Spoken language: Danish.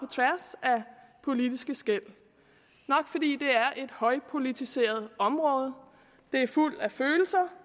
politiske skel nok fordi det er et højpolitiseret område det er fuldt af følelser